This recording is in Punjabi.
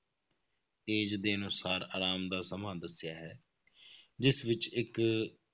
Age ਦੇ ਅਨੁਸਾਰ ਆਰਾਮ ਦਾ ਸਮਾਂ ਦੱਸਿਆ ਹੈ, ਜਿਸ ਵਿੱਚ ਇੱਕ